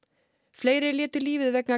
fleiri létu lífið vegna